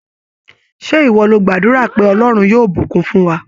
Ṣé ìwọ lo gbàdúrà pé "Ọlọ́run yóò bùkún fún wa?